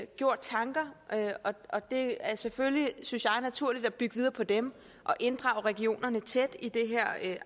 gjort tanker og det er selvfølgelig synes jeg naturligt at bygge videre på dem og inddrage regionerne tæt i det her